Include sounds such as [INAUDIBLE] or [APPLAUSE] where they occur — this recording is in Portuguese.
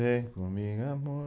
[HUMMING] Vem comigo, amor.